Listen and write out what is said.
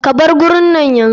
Ka bar gurin nan yanzu.